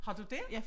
Har du det?